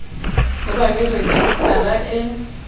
ho ba le rejistara e